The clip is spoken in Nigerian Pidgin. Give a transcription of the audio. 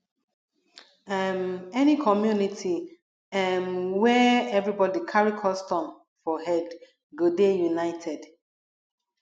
um any community um where everybodi carry custom for head go dey united